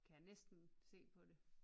Kan jeg næsten se på det